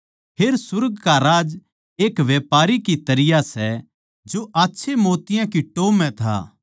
फेर सुर्ग का राज्य एक व्यापारी की तरियां सै जो आच्छे मोतियाँ की टोह् म्ह था